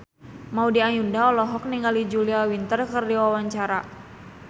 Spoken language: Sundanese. Maudy Ayunda olohok ningali Julia Winter keur diwawancara